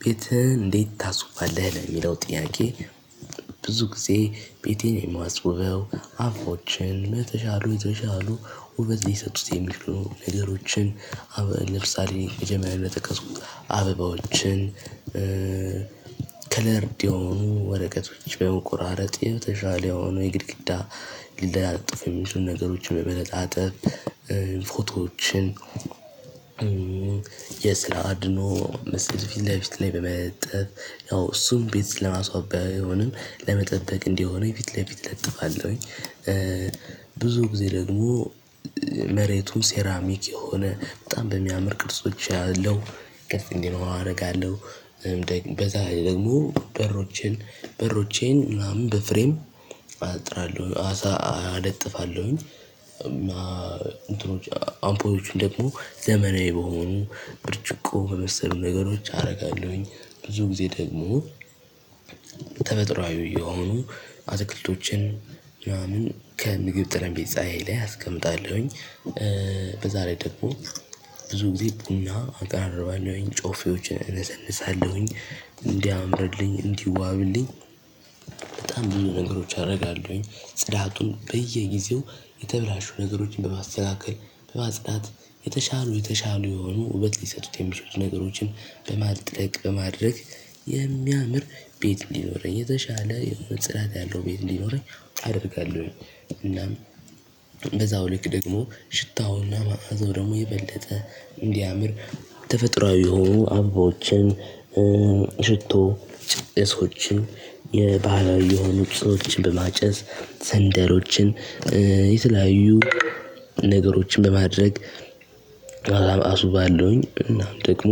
ቤትህ እንዴት ታስውባለህ ለሚለው ጥያቄ? ብዙ ጊዜ ቤቴን የማስውበው አፉፎችን የተሻሉ የተሻሉ ውበት ሊሰጡት የሚችሉ ነገሮችን። አበባዎችን ከለርድ የሆኑ ወረቀቶች በሞቆራረጥ የተሻለ የሆኑ የግድግዳ ሊለጣጠፉ የሚችሉ ነገሮች በመለጣጠፍ ፎቶዎችን የስለ አድኖ ምስል ፊትለፊት ላይ በመለጠፍ ያው እሱን ቤት ለማስዋብ ባይሆንም ለመጠጠቅ እንዲሆነኝ ፊት ለፊት ለጥፋለሁኝ። ብዙ ጊዜ ደግሞ መሬቱን ሴራሚክ የሆነ በጣም በሚያምር ቅርጾች አለው ቅርጽ እንዲኖረው አደርጋለሁ። በዛላይ ደግሞ በሮቼን በሮቼን ምናምን በፍሬም አጥራለሁ አሳ አለጥፋለሁኝ። እማ እንትኖች አምፖችን ደግሞ ዘመናዊ በሆኑ ብርጭቆ በመሰሉ ነገሮች አደርጋለሁኝ። ብዙ ጊዜ ደግሞ ተፈጥሮአዊ የሆኑ አትክልቶችን ምናምን ከምግብ ጠረቤዛዬ ላይ አስቀምጣለሁኝ። በዛ ላይ ደግሞ ብዙ ጊዜ ቡና አቀራርባለሁኝ ጮፌዎችን እነሰንሳለሁኝ እንዲያምርልኝ እንዲዋብልኝ። በጣም ብዙ ነገሮች አደርጋለሁኝ ጽዳቱን በየጊዜው የተበላሹ ነገሮችን በማስተካከል በማጽዳት የተሻሉ የተሻሉ የሆኑ ውበት ሊሰጡት የሚሉት ነገሮችን በማጥለቅ በማድረግ የሚያምር ቤት ሊኖረኝ የተሻለ ጽዳት ያለው ቤት እንዲኖረኝ አደርጋለሁኝ። እናም በዛው ልክ ደግሞ ሽታውና ማዕዘው ደግሞ የበለጠ እንዲያምር ተፈጥሮአዊ የሆኑ አበባዎችን ሽቶ ጭሶችን የባህላዊ የሆኑ ጭሶችን በማጨስ ሰንደሎችን የተለያዩ ነገሮችን በማድረግ አስውባለሁኝ። እናም ደግሞ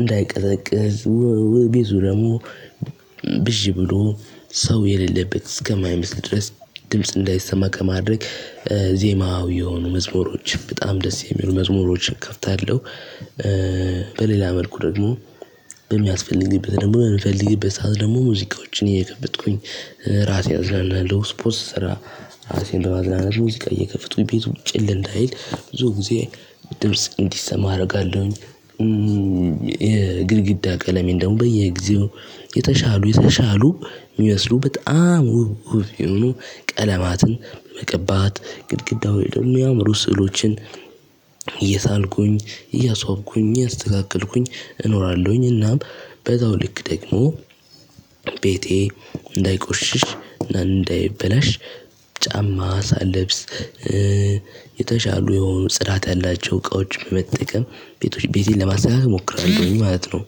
እንዳይቀዘቅዝ ቢቱ ደግሞ ብዥ ብሎ ሰው የሌለበት እስከማይመስል ድረስ ድምጽ እንዳይሰማ ከማድረግ ዜማዊ የሆኑ መዝሙሮችን በጣም ደስ የሚሉ መዝሙሮችን ከፍታለሁ። በሌላ መልኩ ደግሞ በሚያስፈልግበት ደግሞ በምፈልግበት ሰዓት ደግሞ ሙዚቃዎችን እየከፈትኩኝ ራሴን አዝናናለው ስፖርት ስሰራ ራሴን በማዝናናት ነው። ሙዚቃ እየከፈቱ ቤቱ ጭር እንዳይል ብዙ ጊዜ ድምጽ እንዲሰማ አደርጋለሁኝ። የግድግዳ ቀለሜን ደግሞ በየጊዜው የተሻሉ የተሻሉ የሚመስሉ በጣም ውብ ውብ ይሁኑ ቀለማትን መቀባት ግድግዳውን ደግሞ የሚያምሩ ስዕሎችን እየሳልኩ እያስዋብኩኝ እያስተካከልኩኝ እኖራለሁኝ። እናም በዛው ልክ ደግሞ ቤቴ እንዳይቆሽሽ እና እንዳይበላሽ ጫማ ሳለብስ የተሻሉ የሆኑ ጽዳት ያላቸው እቃዎች በመጠቀም ቤቶች ቤቴን ለማስተካከል እሞክራለሁኝ ማለት ነው።